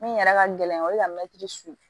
Min yɛrɛ ka gɛlɛn o ye ka mɛtiri susu